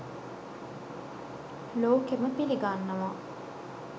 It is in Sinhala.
ලෝකෙම පිලිගන්නවා.